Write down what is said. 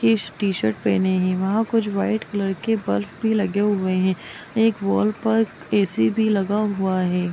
इस टी-शर्ट पहने है वहाँ कुछ व्हाइट कलर के बल्ब भी लगे हुए है एक वॉल पर ए.सी. भी लगा हुआ है।